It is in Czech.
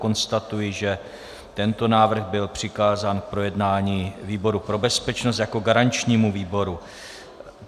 Konstatuji, že tento návrh byl přikázán k projednání výboru pro bezpečnost jako garančnímu výboru.